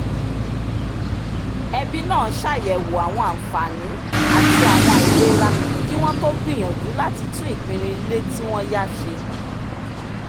ẹbí náà ṣàyẹ̀wò àwọn àǹfààní àti àwọn àìlera kí wọ́n tó gbìyànjú láti tún ìpinnu ilé tí wọ́n yá ṣe